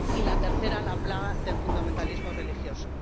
y la tercera, la plaga del fundamentalismo religioso.